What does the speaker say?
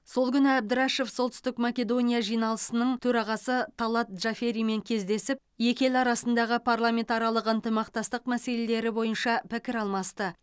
сол күні әбдірашов солтүстік македония жиналысының төрағасы талат джаферимен кездесіп екі ел арасындағы парламентаралық ынтымақтастық мәселелері бойынша пікір алмасты